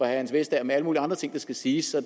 hans vestager med alle mulige andre ting der skal siges så